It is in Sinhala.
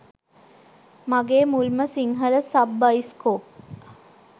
මගේ මුල්ම සිංහල සබ් බයිස්කොප්